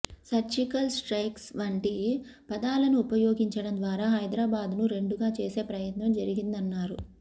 surgical strikes వంటి పదాలను ఉపయోగించడం ద్వారా హైదరాబాద్ ను రెండుగా చేసే ప్రయత్నం జరిగిందన్నారు